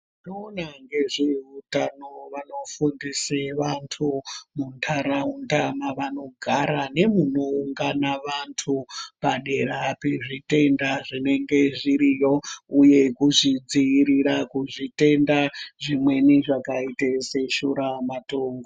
Vanoona ngezveutano vanofundise vantu mundaraunda mavanogara nemunoungana vantu padera pezvitenda zvinenge zviriyo uye kuzvidziirira kuzvitenda zvimweni zvakaita seshuramatongo .